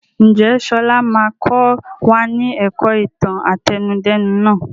Ǹjẹ́ sọlá máa kọ wá ní ẹ̀kọ́ ìtàn àtẹnudẹ́nu nàá?